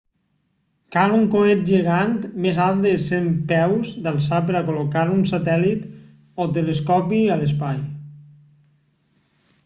cal un coet gegant més alt de 100 peus d'alçada per a col·locar un satèl·lit o telescopi a l'espai